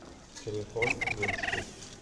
телефон медси